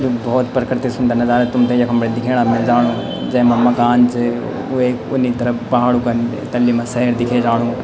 यु भौत पर्किति सुन्दर नजारा तुम्थे यखम बटे दिख्येणा मिल जाणू जैमा मकान च वे उन्नी तरफ पहाड़ो का तल्ली मा सहर दिखे जाणू।